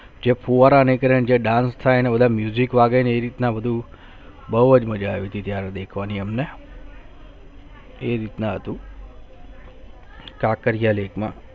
જે ફવરા જે કરે Dance જે કરે એમાં વાગે કઈ રીત ના બધું બહુચ મજા આવે છે હમણાં કઈ રીતના આટલું કાંકરિયા lake માં